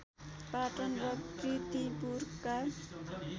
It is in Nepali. पाटन र कीर्तिपुरका